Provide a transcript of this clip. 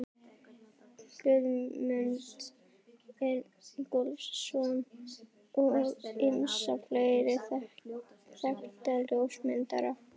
Guðmund Ingólfsson og ýmsa fleiri þekkta ljósmyndara.